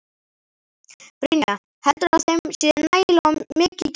Brynja: Heldurðu að þeim sé nægilega mikið gefið?